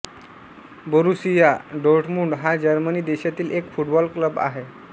Borussia Dortmund हा Germany देशातील एक फुटबॉल क्लब आहे